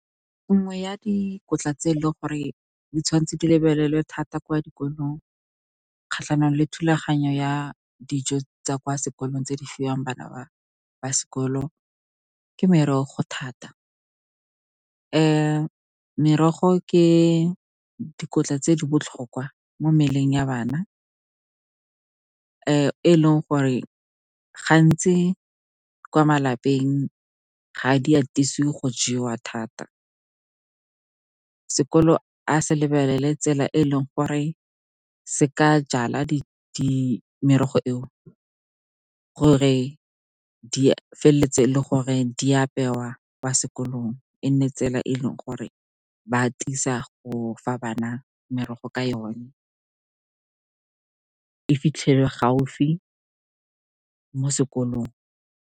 Nngwe ya dikotla tse e leng gore di tshwanetse di lebelelwe thata kwa dikolong kgatlhanong le thulaganyo ya dijo tsa kwa sekolong tse di fiwang bana ba ba sekolong ke merogo thata. Merogo ke dikotla tse di botlhokwa mo mmeleng ya bana, e leng gore gantsi kwa malapeng ga di atisiwe go jewa thata. Sekolo a se lebelele tsela e e leng gore se ka jala merogo e o, gore di feleletse le gore di apewa kwa sekolong. E nne tsela e e leng gore ba tisa go fa bana merogo ka yone, fitlhelwe gaufi mo sekolong.